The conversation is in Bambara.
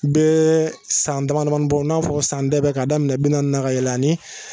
Bɛ san damadamanin bɔ n'a fɔ san dɛbɛ k'a daminɛ bi naani na ka yɛlɛn ani